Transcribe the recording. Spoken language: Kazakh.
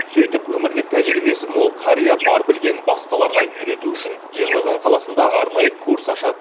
сөйтіп өмірлік тәжірибесі мол қария бар білгенін басқаларға үйрету үшін жезқазған қаласында арнайы курс ашады